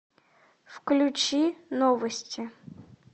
включи новости